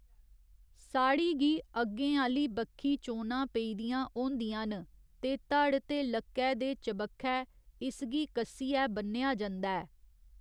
साड़ी गी अग्गें आह्‌ली बक्खी चोनां पेदियां होंदियां न ते धड़ ते लक्कै दे चबक्खै इसगी कस्सियै ब'न्नेआ जंदा ऐ।